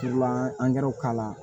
An ye k'a la